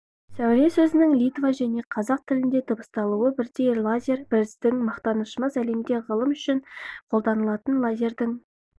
сәуле сөзінің литва және қазақ тілінде дыбысталуы бірдей лазер біздің мақтанашымыз әлемде ғылым үшін қолданылатын лазердің